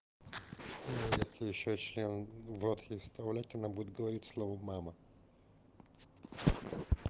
ну если ещё член в рот ей вставлять она будет говорить слово мама